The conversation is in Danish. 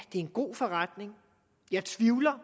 er en god forretning jeg tvivler